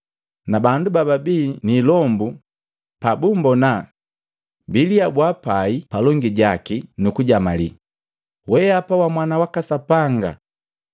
Na bandu bababii ni ilombu pabumbona, biliabua pai palongi jaki nu kujamalii, “Wehapa wa Mwana waka Sapanga!”